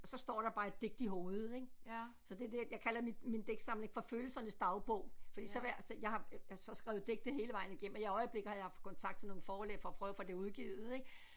Og så står der bare et digt i hovedet ik så det er det jeg kalder min min digtsamling for følelsernes dagbog fordi så hver så jeg har så skrevet digte hele vejen igennem og i øjeblikket har jeg haft kontakt til nogle forlag for at prøve at få det udgivet ik